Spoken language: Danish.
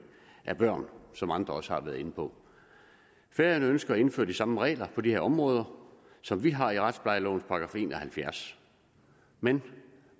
af børn som andre også har været inde på færøerne ønsker at indføre de samme regler på de her områder som vi har i retsplejelovens § en og halvfjerds men